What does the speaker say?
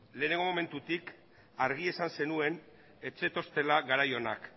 lehenengo momentutik argi esan zenuen ez zetoztela garai onak